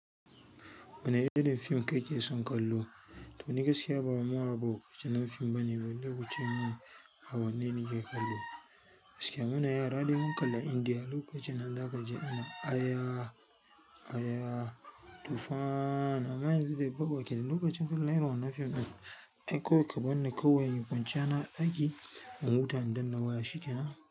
Wane irin fim kake son kallo? To ni gaskiya ba ma'abocin fim bane, bai wuce ma awanni nake kallo. Gaskiya muna yara dai mun kalli Indiya, lokacin nan za ka ji ana aya, aya, tufaaan. Amma yanzu dai kwabo kenan, lokacin kallon irin wannan fim ɗin, ai ko ka barni kawai in kwanciya na a ɗaki, in huta in danna waya shikenan.